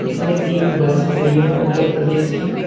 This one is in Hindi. इसमें तीन बस खड़ी है उत्तर प्रदेश की।